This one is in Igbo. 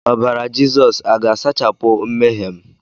Obara-Jesu o ga-asachapụ nmehiem?